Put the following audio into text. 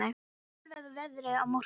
Úa, hvernig verður veðrið á morgun?